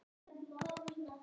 Það hugsa ég, segir Sigrún.